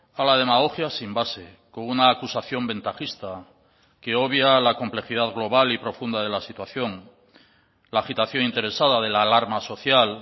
a la demagogia sin base con una acusación ventajista que obvia a la complejidad global y profunda de la situación la agitación interesada de la alarma social